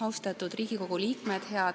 Austatud Riigikogu liikmed!